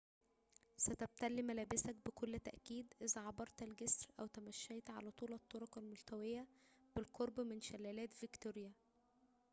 ستبتل ملابسك بكل تأكيد إذا عبرت الجسر أو تمشيت على طول الطرق الملتوية بالقرب من شلالات فيكتوريا